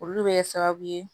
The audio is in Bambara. Olu bɛ kɛ sababu ye